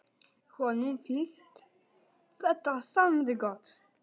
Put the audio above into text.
Honum finnst þetta samt gott.